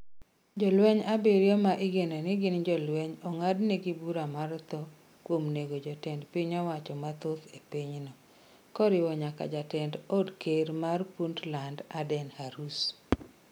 Jolweny abiriyo ma igeno ni gin jolweny ong'adnegi bura mar tho kuom nego jotend piny owacho mathoth e pinyno, koriwo nyaka jatend od ker mar Puntland, Aden Hurus.